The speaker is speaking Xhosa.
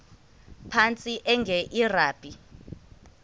phantsi enge lrabi